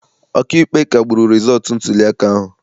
Ọkaikpe kagburu rịzọọtụ ntuliaka ahụ.